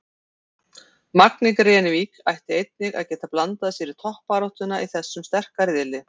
Magni Grenivík ætti einnig að geta blandað sér í toppbaráttuna í þessum sterka riðli.